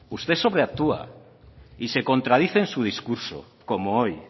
usted sobreactúa y se contradice en su discurso como hoy